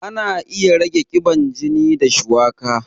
Ana iya rage ƙiban jini da shuwaka